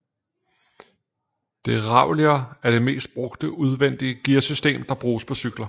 Derailleur er det mest brugte udvendige gearsystem der bruges på cykler